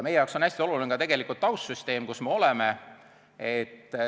Meie jaoks on hästi oluline ka taustsüsteem.